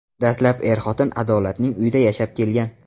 Dastlab er-xotin Adolatning uyida yashab kelgan.